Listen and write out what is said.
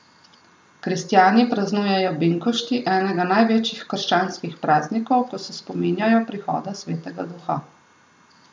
Kristjani praznujejo binkošti, enega največjih krščanskih praznikov, ko se spominjajo prihoda Svetega Duha.